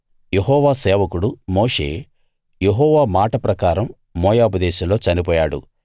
యెహోవా సేవకుడు మోషే యెహోవా మాట ప్రకారం మోయాబు దేశంలో చనిపోయాడు